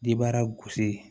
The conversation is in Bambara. Dibara gosi